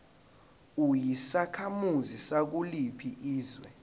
uyisakhamuzi sakuliphi izwe